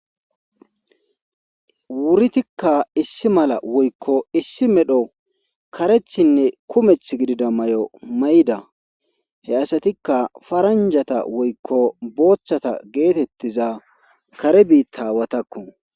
wuridikka issi mala woykko issi medho karethinne kumeth gidida may7o may7da he asatikka faranjata woykko booththata geetettiza kare biitta awatakku